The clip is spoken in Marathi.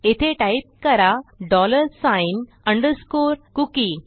येथे टाईप करा डॉलर साइन अंडरस्कोर कुकी